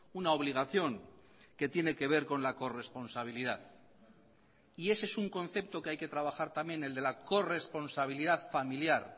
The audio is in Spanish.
una obligación que tiene que ver con la corresponsabilidad y ese es un concepto que hay que trabajar también el de la corresponsabilidad familiar